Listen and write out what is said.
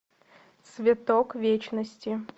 цветок вечности